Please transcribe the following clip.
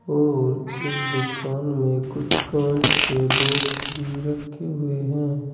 और इस दुकान में कुछ कांच के बॉक्स भी रखे हुए हैं।